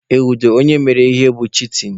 E nwudere onye mere ya bụ chitin?